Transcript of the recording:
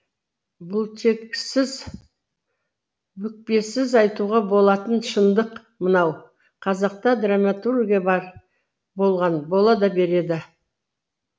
бұлтексіз бүкпесіз айтуға болатын шындық мынау қазақта драматургия бар болған бола да береді